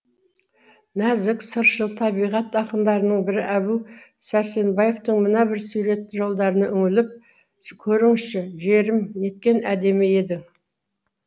нәзік сыршыл табиғат ақындарының бірі әбу сәрсенбаевтың мына бір суретті жолдарына үңіліп көріңізші жерім неткен әдемі едің